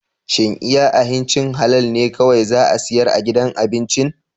Shin iya ahincin halal ne kawai za a siyar a gidan abincin?